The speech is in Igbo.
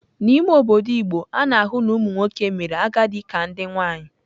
N'ime obodo igbo, a na-ahụ na ụmụ nwoke mere agadi ka nke nwaanyị.